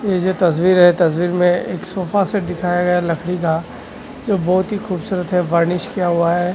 ये जो तस्वीर है तस्वीर में एक सोफा सेट दिखाया गया लकड़ी का जो बहुत ही खूबसूरत है फर्निश किया हुआ है।